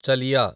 చలియా